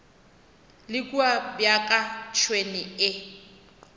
le kua bjaka tšhwene e